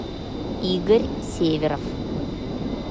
игорь северов